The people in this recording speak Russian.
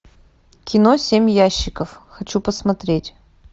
кино семь ящиков хочу посмотреть